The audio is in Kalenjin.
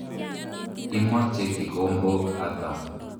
Imoche kikombok ata?